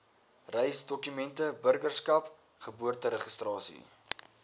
reisdokumente burgerskap geboorteregistrasie